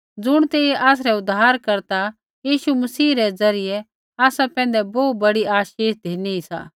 ज़ुण तेइयै आसरै उद्धारकर्ता यीशु मसीह रै ज़रियै आसा पैंधै बोहू बड़ी आशीष धिनी री सा